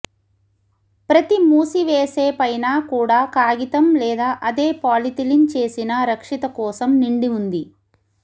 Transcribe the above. ప్రతి మూసివేసే పైన కూడా కాగితం లేదా అదే పాలిథిలిన్ చేసిన రక్షిత కోశం నిండి ఉంది